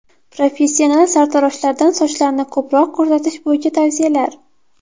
Professional sartaroshlardan sochlarni ko‘proq ko‘rsatish bo‘yicha tavsiyalar.